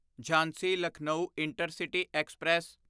Jhansi Lucknow intercity express